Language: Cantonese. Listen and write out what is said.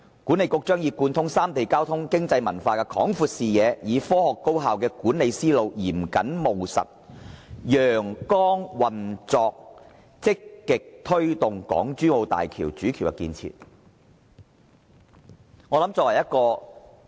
管理局將以貫通三地交通、經濟、文化的廣闊視野，以科學高效的管理思路，嚴謹務實、陽光運作積極推動港珠澳大橋主橋的建設。